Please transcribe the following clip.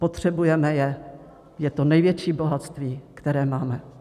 Potřebujeme je, je to největší bohatství, které máme.